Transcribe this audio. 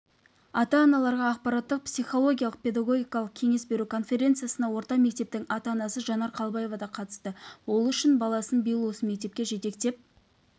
ата-аналарға ақпараттық псиологиялық педагогикалық кеңес беру конференциясына орта мектептің ата-анасы жанар қалыбаева да қатысты ол үшінші баласын биыл осы мектепке жетектеп